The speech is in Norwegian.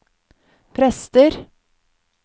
prester